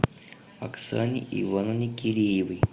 оксане ивановне киреевой